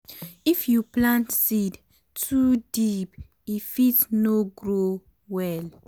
if you plant seed too deep e fit no grow well.